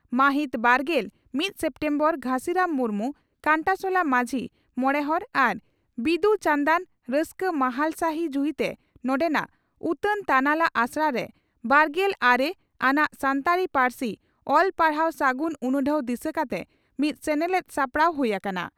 ᱢᱟᱦᱤᱛ ᱵᱟᱨᱜᱮᱞ ᱢᱤᱛ ᱥᱮᱯᱴᱮᱢᱵᱚᱨ (ᱜᱷᱟᱥᱤᱨᱟᱢ ᱢᱩᱨᱢᱩ) ᱺ ᱠᱟᱱᱴᱟᱥᱚᱞᱟ ᱢᱟᱹᱡᱷᱤ ᱢᱚᱬᱮᱦᱚᱲ ᱟᱨ ᱵᱤᱫᱩ ᱪᱟᱱᱫᱟᱱ ᱨᱟᱹᱥᱠᱟᱹ ᱢᱟᱦᱟᱞ ᱥᱟᱹᱦᱤ ᱡᱩᱦᱤᱛᱮ ᱱᱚᱰᱮᱱᱟᱜ ᱩᱛᱟᱹᱱ ᱛᱟᱱᱟᱞᱟ ᱟᱥᱲᱟᱨᱮ ᱵᱟᱨᱜᱮᱞ ᱟᱨᱮ ᱟᱱᱟᱜ ᱥᱟᱱᱛᱟᱲᱤ ᱯᱟᱹᱨᱥᱤ ᱚᱞ ᱯᱟᱲᱦᱟᱣ ᱥᱟᱹᱜᱩᱱ ᱩᱱᱩᱰᱷᱟᱹᱣ ᱫᱤᱥᱟᱹ ᱠᱟᱛᱮ ᱢᱤᱫ ᱥᱮᱱᱮᱞᱮᱫ ᱥᱟᱯᱲᱟᱣ ᱦᱩᱭ ᱟᱠᱟᱱᱟ ᱾